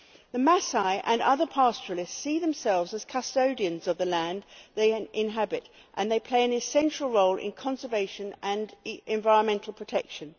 The Masai and other pastoralists see themselves as custodians of the land they inhabit and they play an essential role in conservation and environmental protection.